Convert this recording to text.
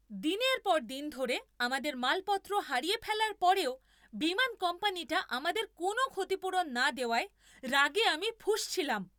দিনের পর দিন ধরে আমাদের মালপত্র হারিয়ে ফেলার পরেও বিমান কোম্পানিটা আমাদের কোনও ক্ষতিপূরণ না দেওয়ায় রাগে আমি ফুঁসছিলাম।